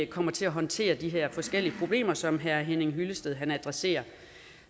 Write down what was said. kommer til at håndtere de her forskellige problemer som herre henning hyllested adresserer